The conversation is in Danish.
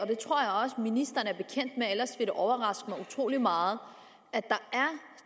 ministeren er bekendt med ellers vil det overraske mig utrolig meget at der er